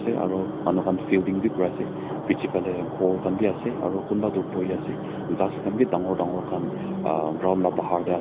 Aro manu khan filding bi kuri ase piche phale ghor khan bi ase aro kunba toh buhi ase ghas khan bi dangor dangor khan aah ground la bahar te ase.